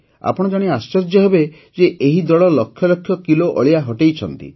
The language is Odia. ଆପଣ ଜାଣି ଆଶ୍ଚର୍ଯ୍ୟ ହେବେ ଯେ ଏହି ଦଳ ଲକ୍ଷ ଲକ୍ଷ କିଲୋ ଅଳିଆ ହଟାଇଛନ୍ତି